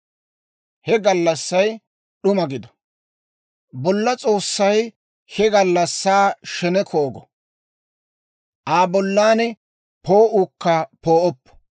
He gallassay d'uma gido; Bolla S'oossay he gallassaa sheneko go; Aa bollan poo'uukka poo'oppo.